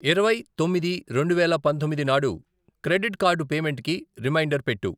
ఇరవై, తొమ్మిది, రెండువేల పంతొమ్మిది నాడు క్రెడిట్ కార్డు పేమెంటుకి రిమైండర్ పెట్టు.